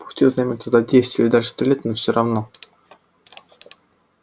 пусть и займёт это десять лет или даже сто лет но все равно